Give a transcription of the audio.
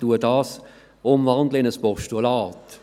Ich wandle den Vorstoss in ein Postulat um.